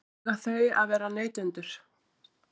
Eiga þau að vera neytendur?